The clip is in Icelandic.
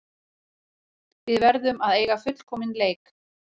Við verðum að eiga fullkominn leik